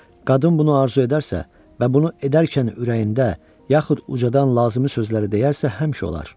Qadın bunu arzu edərsə və bunu edərkən ürəyində, yaxud ucdan lazımi sözləri deyərsə, həmişə olar.